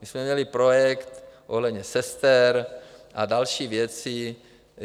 My jsme měli projekt ohledně sester a další věci.